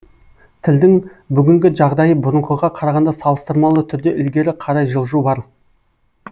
тілдің бүгінгі жағдайы бұрынғыға қарағанда салыстырмалы түрде ілгері қарай жылжу бар